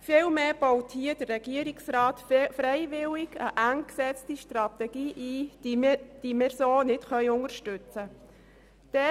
Vielmehr baut hier der Regierungsrat freiwillig eine eng gesetzte Strategie ein, die wir so nicht unterstützen können.